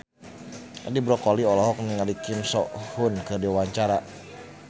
Edi Brokoli olohok ningali Kim So Hyun keur diwawancara